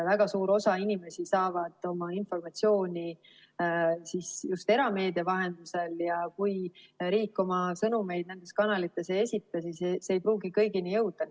Väga suur osa inimesi saab oma informatsiooni just erameedia vahendusel ja kui riik oma sõnumeid nendes kanalites ei esita, siis see ei pruugi kõigini jõuda.